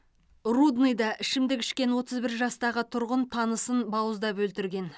рудныйда ішімдік ішкен отыз бір жастағы тұрғын танысын бауыздап өлтірген